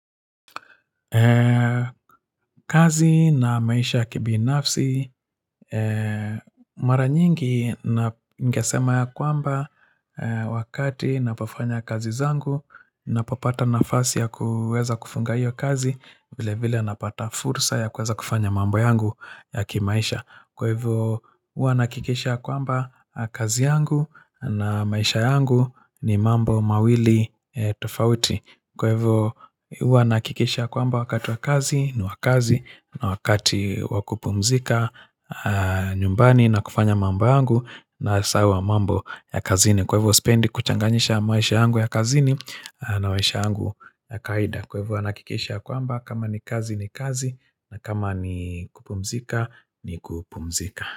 Eee, kazi na maisha ya kibinafsi Eee, mara nyingi na ningesema ya kwamba Eee, wakati napofanya kazi zangu Napopata nafasi ya kuweza kufunga hiyo kazi vile vile napata fursa ya kuweza kufanya mambo yangu ya kimaisha Kwa hivyo, hua nakikisha kwamba kazi yangu na maisha yangu ni mambo mawili tofauti Kwa hivo hua nahakikisha kwamba wakati wa kazi ni wa kazi na wakati wakupumzika nyumbani na kufanya mamba yangu nasahau mambo ya kazini Kwa hivo sipendi kuchanganisha maisha yangu ya kazini na maisha yangu ya kawaida Kwa hivo huwa nahakikisha kwamba kama ni kazi ni kazi na kama ni kupumzika.